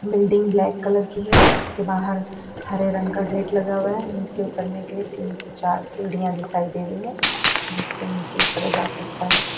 Building black colour की है उसके बाहर हरे रंग का गेट लगा हुआ है नीचे उतरने के लिए तीन से चार सीढ़ियां दिखाई दे रही है जिससे नीचे उतरा जा सकता है।